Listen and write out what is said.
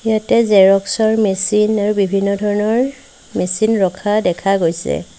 ইয়াতে জেৰক্স ৰ মেচিন আৰু বিভিন্ন ধৰণৰ মেচিন ৰখা দেখা গৈছে।